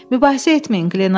Mübahisə etməyin.